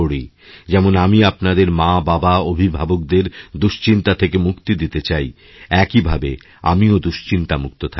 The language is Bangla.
যেমন আমি আপনাদেরমাবাবাঅভিভাবকদের দুশ্চিন্তা থেকে মুক্তি দিতে চাই একই ভাবে আমিওদুশ্চিন্তামুক্ত থাকতে চাই